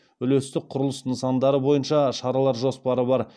үлестік құрылыс нысандары бойынша шаралар жоспары бар